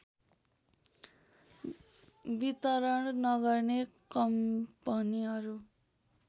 वितरण नगर्ने कम्पनीहरू